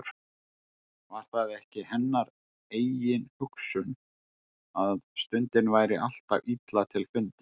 Var það ekki hennar eigin hugsun, að stundin væri alltaf illa til fundin.